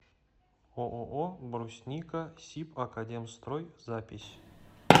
ооо брусника сибакадемстрой запись